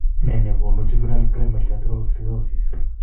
Nee ne koonu juvenile primary lateral sclerosis?